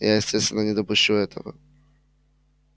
я естественно не допущу этого